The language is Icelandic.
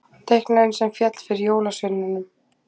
Teiknarinn sem féll fyrir jólasveinunum